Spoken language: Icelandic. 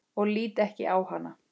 Og lít ekki á hana.